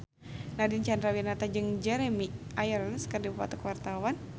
Nadine Chandrawinata jeung Jeremy Irons keur dipoto ku wartawan